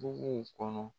Buguw kɔnɔ